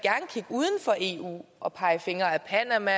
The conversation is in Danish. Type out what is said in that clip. kigge uden for eu og pege fingre ad panama